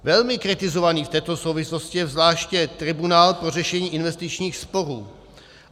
Velmi kritizovaný v této souvislosti je zvláště tribunál pro řešení investičních sporů.